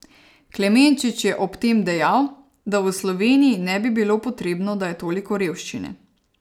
Klemenčič je ob tem dejal, da v Sloveniji ne bi bilo potrebno, da je toliko revščine.